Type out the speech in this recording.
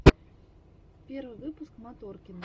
первый выпуск моторкина